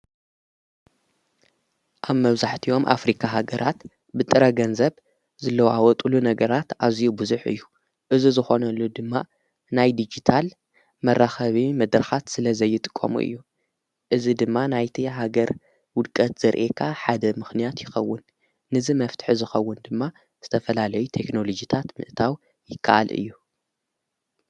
ኣብ መብዛሕትዮም ኣፍሪካ ሃገራት ብጥረ ገንዘብ ዝለዋወጡሉ ነገራት ኣዚዩ ብዙሕ እዩ፡፡ እዚ ዝኾነሉ ድማ ናይ ዲጂታል መራኸቢ መድረኻት ስለ ዘይጥቆሙ እዩ፡፡ እዚ ድማ ናይቲ ሃገር ውድቀት ዘርእየካ ሓደ ምኽንያት ይኸውን፡፡ ንዝ መፍትሒ ዝኸውን ድማ ዝተፈላለይ ቴክሎጅታት ምእታው ይከኣል እዩ፡፡